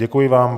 Děkuji vám.